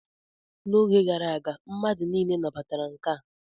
N'oge gara aga, mmadụ niile nabatara nka